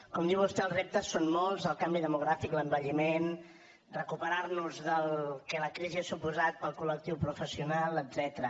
com diu vostè els reptes són molts el canvi demogràfic l’envelliment recuperar nos del que la crisi ha suposat per al col·lectiu professional etcètera